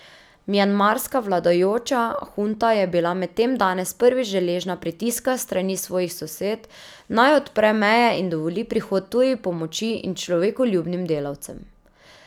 Mjanmarska vladajoča hunta je bila medtem danes prvič deležna pritiska s strani svojih sosed, naj odpre meje in dovoli prihod tuji pomoči in človekoljubnim delavcem.